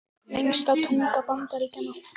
Lengsta tunga Bandaríkjanna